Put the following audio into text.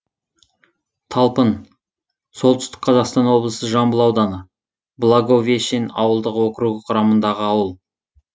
талпын солтүстік қазақстан облысы жамбыл ауданы благовещен ауылдық округі құрамындағы ауыл